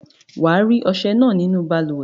Wà á rí ọsẹ náà nínú balùwẹ̀.